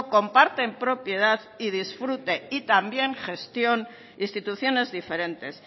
comparten propiedad y disfrute y también gestión instituciones diferentes